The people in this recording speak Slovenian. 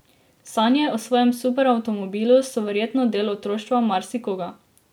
Sanje o svojem superavtomobilu so verjetno del otroštva marsikoga.